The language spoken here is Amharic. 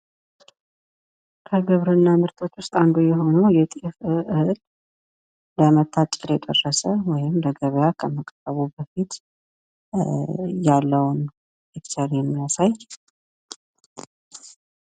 ከግብርና ምርቶች ውስጥ አንዱ የሆነው የጤፍ እህል ለመታጨ ደረሰ ወይም ለገበያ ከመቅረቡ በፊት ያለውን ፒክቸር የሚያሳይ